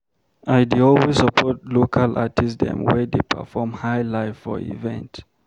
I dey always support local artist dem wey dey perform Highlife for event.